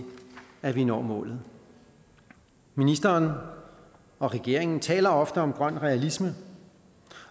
at vi når målet ministeren og regeringen taler ofte om grøn realisme